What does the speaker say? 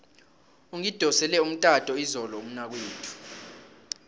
ungidosele umtato izolo umnakwethu